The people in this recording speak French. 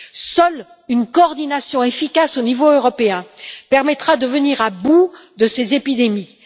Seule une coordination efficace au niveau européen permettra de venir à bout de ces épidémies.